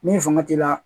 Ni fanga t'i la